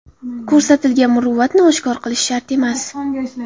Ko‘rsatilgan muruvvatni oshkor qilish shart emas.